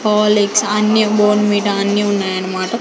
Horlicks అన్నీ Bournvita అన్నీ ఉన్నాయనమాట.